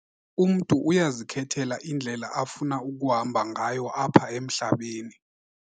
Umntu uyazikhethela indlela afuna ukuhamba ngayo apha emhlabeni.